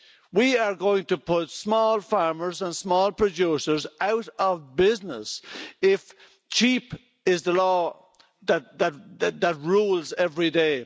We are going to put small farmers and small producers out of business if cheap' is the law that rules every day.